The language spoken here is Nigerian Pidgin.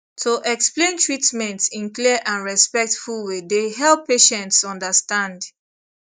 to explain treatment in clear and respectful way dey help patients understand